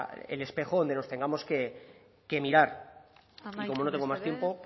el espejo donde nos tengamos que mirar y como no tengo más tiempo